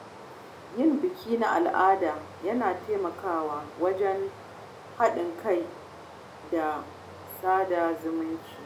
Yin biki na al’ada yana taimakawa wajen haɗin kai da sada zumunci.